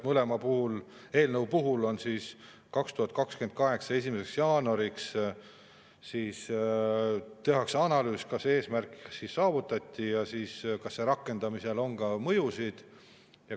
Mõlema eelnõu puhul tehakse 2028. aasta 1. jaanuariks analüüs, kas eesmärk saavutati ja kas rakendamisel on ka mõjusid.